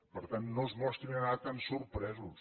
per tant no es mostrin ara tant sorpresos